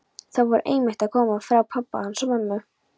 Þau voru einmitt að koma frá pabba hans og mömmu.